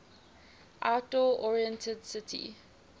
outdoor oriented city